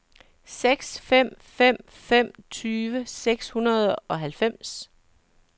seks fem fem fem tyve seks hundrede og halvfems